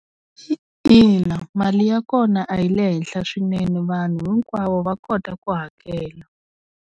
Ina, mali ya kona a yi le henhla swinene vanhu hinkwavo va kota ku hakela.